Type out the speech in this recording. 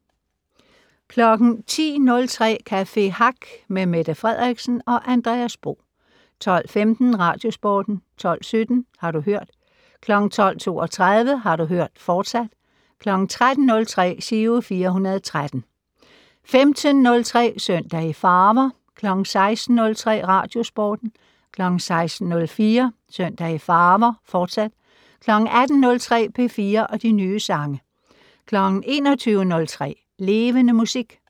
10:03: Café Hack med Mette Frederiksen og Andreas Bo 12:15: Radiosporten 12:17: Har du hørt 12:32: Har du hørt, fortsat 13:03: Giro 413 15:03: Søndag i farver 16:03: Radiosporten 16:04: Søndag i farver, fortsat 18:03: P4 og de nye sange 21:03: Levende Musik